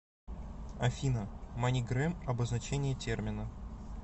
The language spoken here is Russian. афина манигрэм обозначение термина